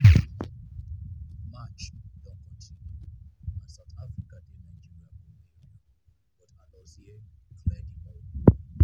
match don continue and south africa dey nigeria goal area but alozie clear di ball.